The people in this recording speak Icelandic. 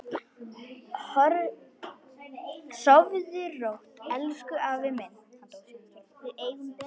Sofðu rótt, elsku afi minn.